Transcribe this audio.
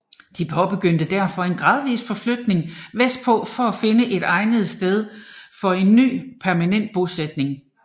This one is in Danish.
De påbegyndte derfor en gradvis forflytning vestpå for at finde et egnet sted for en ny permanent bosætning